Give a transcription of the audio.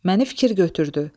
Məni fikir götürdü.